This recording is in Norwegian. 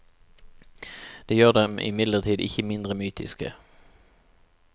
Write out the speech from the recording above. Det gjør dem imidlertid ikke mindre mytiske.